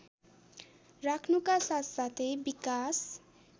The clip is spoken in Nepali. राख्नुका साथसाथै विकास